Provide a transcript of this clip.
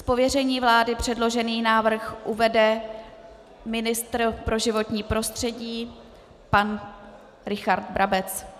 Z pověření vlády předložený návrh uvede ministr pro životní prostředí pan Richard Brabec.